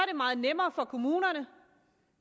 meget nemmere for kommunerne